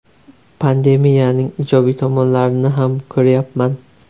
Pandemiyaning ijobiy tomonlarini ham ko‘ryapman.